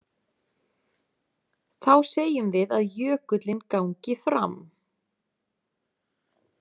Þá segjum við að jökullinn gangi fram.